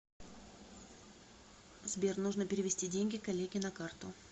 сбер нужно перевести деньги коллеге на карту